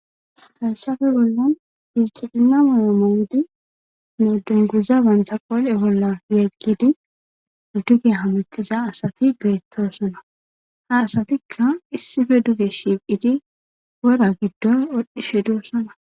hayssape bollan bilxgina mayo moydine dunguza bantaqoole bolla yaggidi duge hametiza asati beettosona ha asatikka issife duge shiiqidi wora giddon odhishe doossana